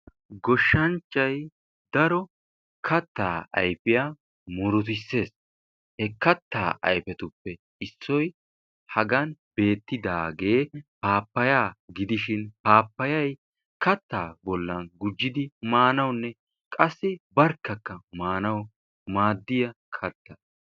Goshshanchchay daro kattaa ayfiyaa murutisees. He kattaa ayfetuppe issoy hagaan bettidaagee paappayyaa gidishi paappayaye kaattaa bollan gujjidi maanawunne qassi barkkaka maanawu maddiyaa kattaa.